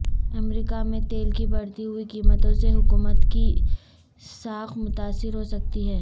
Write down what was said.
امریکہ میں تیل کی بڑھتی ہوئی قیمتوں سے حکومت کی ساکھ متاثر ہو سکتی ہے